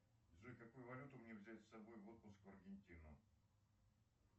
джой какую валюту мне взять с собой в отпуск в аргентину